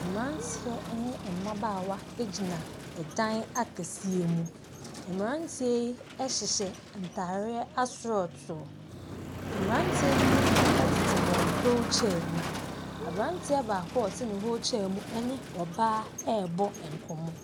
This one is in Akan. Mmeranteɛ ne mmabaawa gyina ɛdan akɛseɛ mu. Mmeranteɛ yi hyehyɛ ntadeɛ asorɔtoo. Mmeranteɛ no mu bi tete wɔn wheel chair mu. Aberanteɛ baako a ɔte ne wheel chair mu ne ɔbaa rebɔ nkɔmmɔ.